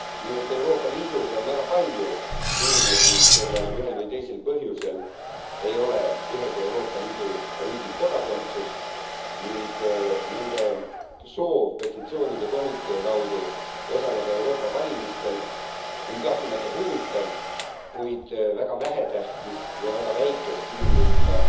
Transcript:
Nimelt on Euroopa Liidus väga palju inimesi, kellel ühel või teisel põhjusel ei ole ühegi Euroopa Liidu riigi kodakondsust ning nende soov petitsioonide komitee kaudu osaleda Euroopa Parlamendi valimistel on kahtlemata huvitav, kuid väga vähetähtis ning väga väikest inimrühma